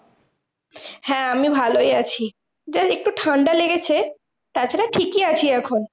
হ্যাঁ আমি ভালোই আছি যা একটু ঠান্ডা লেগেছে, তাছাড়া ঠিকই আছি এখন।